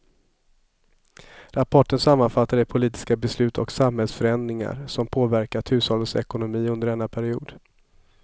Rapporten sammanfattar de politiska beslut och samhällsförändringar som påverkat hushållens ekonomi under denna period.